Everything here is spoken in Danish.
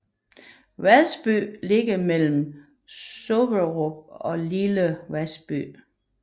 Vadsby ligger mellem Soderup og Lille Vasby